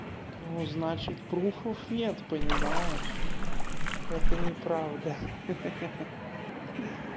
ну значит пруфов нет понимаешь это неправда ха-ха